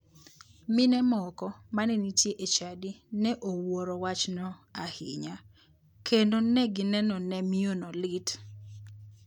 Mine moko mane nitie e chadi ne owuoro wachno ahinya kendo ne gineno ne miyono lit.